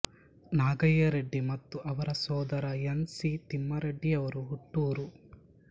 ನಾಗಯ್ಯ ರೆಡ್ಡಿ ಮತ್ತು ಅವರ ಸೋದರ ಎನ್ ಸಿ ತಿಮ್ಮಾರೆಡ್ಡಿಯವರು ಹುಟ್ಟೂರು